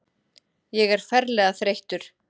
Ég er ferlega þreyttur.